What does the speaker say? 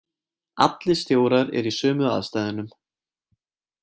Allir stjórar eru í sömu aðstæðunum.